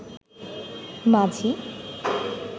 মাঝি